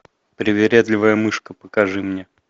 привередливая мышка покажи мне